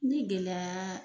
N ye gɛlɛyaa